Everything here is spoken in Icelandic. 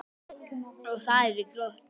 Og það er ekki gott.